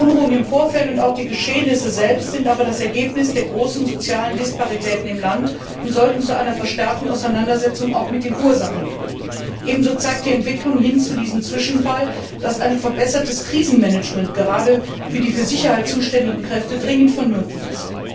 Die Unruhen im Vorfeld und auch die Geschehnisse selbst sind aber das Ergebnis der großen sozialen Disparitäten im Land und sollten zu einer verstärkten Auseinandersetzung mit den Ursachen führen. Ebenso zeigt die Entwicklung hin zu diesem Zwischenfall, dass ein verbessertes Krisenmanagement gerade für die für die Sicherheit zuständigen Kräfte dringend vonnöten ist.